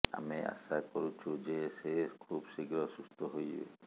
ଆମେ ଆଶା କରୁଛୁ ଯେ ସେ ଖୁବଶୀଘ୍ର ସୁସ୍ଥ ହୋଇଯିବେ